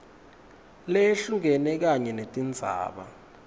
leyehlukene kanye netindzaba